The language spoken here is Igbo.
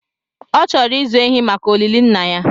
Ọ chọrọ ịzụ ehi maka olili nna ya